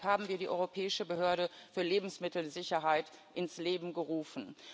Deshalb haben wir die Europäische Behörde für Lebensmittelsicherheit ins Leben gerufen.